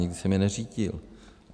Nikdy jsem je neřídil.